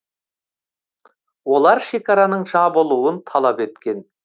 олар шекараның жабылуын талап еткен